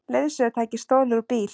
Leiðsögutæki stolið úr bíl